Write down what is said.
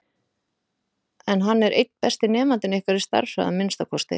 En hann er einn besti nemandinn ykkar, í stærðfræði að minnsta kosti.